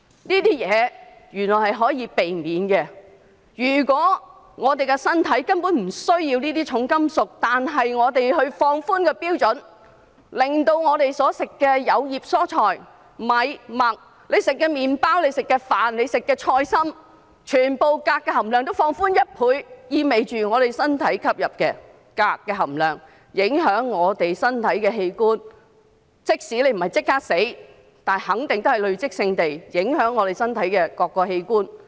這些原來是可以避免的，我們的身體根本不需要這些重金屬，但如果我們放寬標準，令我們所進食的有葉蔬菜、米、麥，以至我們吃的麪包、菜心，全部的鎘含量都放寬1倍，這意味着我們身體吸入的鎘將影響我們身體的器官，即使不是立即死亡，但肯定會累積性地影響我們身體各個器官。